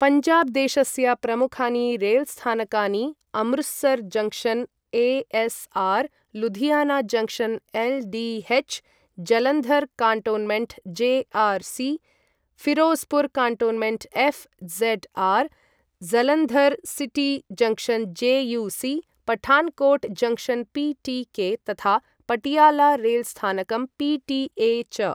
पञ्जाब् देशस्य प्रमुखानि रेल्स्थानकानि Amritsar junction A S R , Ludhiana junction L D H , Jalandhar cantonment J R C , Firozpur cantonment F Z R , Jalandhar city junction J U C , Pathankot junction P T K तथा पटियाला रेल्स्थानकं P T A च।